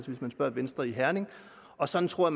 hvis man spørger venstre i herning og sådan tror